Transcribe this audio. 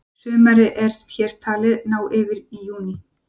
sumarið er hér talið ná yfir júní